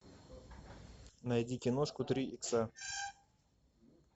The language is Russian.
найди киношку три икса